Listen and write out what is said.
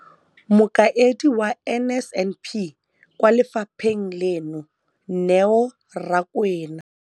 Mokaedi wa NSNP kwa lefapheng leno, Neo Rakwena,